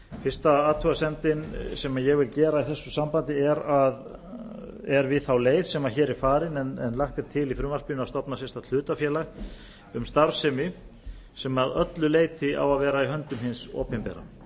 fyrsta athugasemdin sem ég vil gera í þessu sambandi er við þá leið sem hér er farin en lagt er til í frumvarpinu að stofna sérstakt hlutafélag um starfsemi sem að öllu leyti á að vera í höndum hins opinbera það er